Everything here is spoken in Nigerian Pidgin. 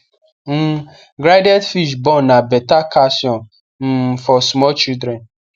um grinded fish born na beta calcium um for small children